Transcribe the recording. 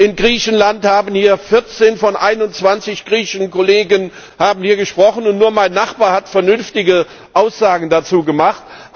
Aus Griechenland haben 14 von 21 griechischen Kollegen hier gesprochen, und nur mein Nachbar hat vernünftige Aussagen dazu gemacht.